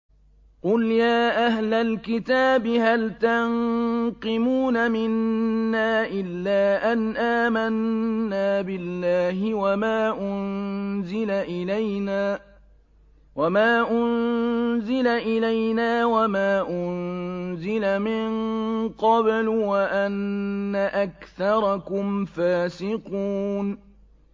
قُلْ يَا أَهْلَ الْكِتَابِ هَلْ تَنقِمُونَ مِنَّا إِلَّا أَنْ آمَنَّا بِاللَّهِ وَمَا أُنزِلَ إِلَيْنَا وَمَا أُنزِلَ مِن قَبْلُ وَأَنَّ أَكْثَرَكُمْ فَاسِقُونَ